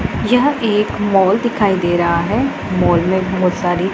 यह एक मॉल दिखाई दे रहा है मॉल में बहुत सारी--